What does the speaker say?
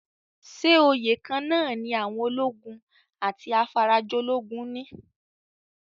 Ṣé oyè kan-án-nà ní àwọn ológun àti afarajolúgun ní?